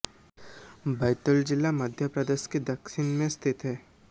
बैतूल जिला मध्य प्रदेश के दक्षिण में स्थित है